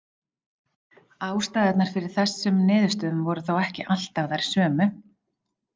Ástæðurnar fyrir þessum niðurstöðum voru þó ekki alltaf þær sömu.